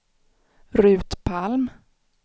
Ruth Palm